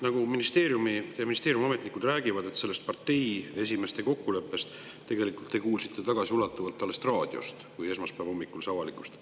Ministeeriumi ametnikud räägivad, et sellest parteide esimeeste kokkuleppest tegelikult te kuulsite tagasiulatuvalt alles raadiost, kui esmaspäeva hommikul see avalikustati.